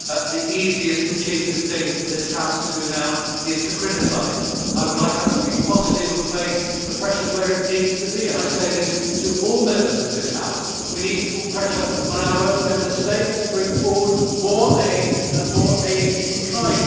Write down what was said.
The easiest and cheapest thing for this House to do now is to criticise. I would like us to be positive and place the pressure where it needs to be. I say this to all Members of this House. We need to put pressure on our own Member States to bring forward more aid, and more aid in kind.